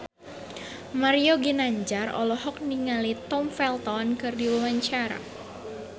Mario Ginanjar olohok ningali Tom Felton keur diwawancara